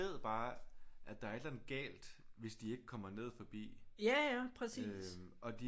Bare at der er et eller andet galt hvis de ikke kommer ned forbi øh og de